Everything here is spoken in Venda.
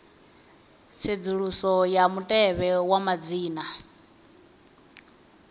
tsedzuluso ya mutevhe wa madzina